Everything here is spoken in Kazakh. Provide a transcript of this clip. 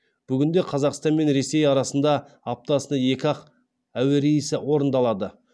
бүгінде қазақстан мен ресей арасында аптасына екі ақ әуе рейсі орындалады